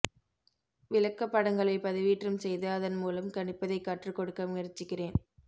விளக்கப்படங்களை பதிவேற்றம் செய்து அதன் மூலம் கணிப்பதை கற்றுக் கொடுக்க முயற்சிக்கிறேன்